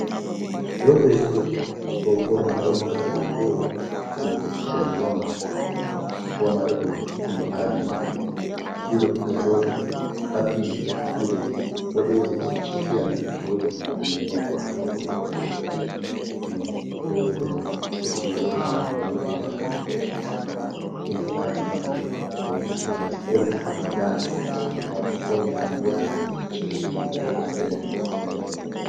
Rowɓe ɗiɗo ɗo ɓorni ɓornugal iri go’o ɓe ɗo dari wamarde wamarde ɗum aadi maɓɓe ɗiɗo ɗo joɗi haɓɓi gude boɗeje ɗo fiyana be bauɗi be mbaggu ha jungo maɓɓe ɓe ɗo fiya non rowɓe ben ɓe ɗo mori morɗi maɓɓe ɗum aadi maɓɓe, bo ɓe ɗo wati oldi ha dande, ɓe ɗo wati pauni ha morɗi, ɓe ɗo jogi leppol fere danewal.